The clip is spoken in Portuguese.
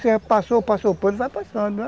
Você passou passou o pano e vai passando, né?